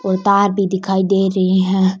और तार भी दिखाई देरी हे।